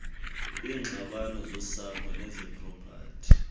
kwiingxabano zosapho nezepropati